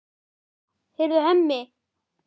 Heyrðu, Hemmi!